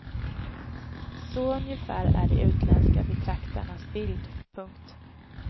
Så ungefär är de utländska betraktarnas bild. punkt